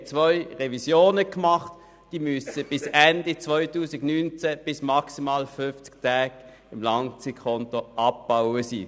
Es wurden zwei Revisionen gemacht, im Rahmen welcher die Überstunden bis Ende 2019 bis auf maximal 50 Tage im Langzeitkonto abgebaut werden müssen.